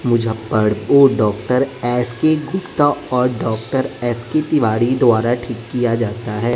मुज्जफड ओ doctor S K Gupta और doctor S K Tiwari द्वारा ठीक किया जाता है।